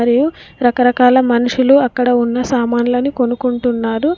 మరియు రకరకాల మనుషులు అక్కడ ఉన్న సామాన్లని కొనుక్కుంటున్నారు.